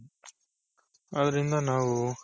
ಅದರಿಂದ ನಾವು,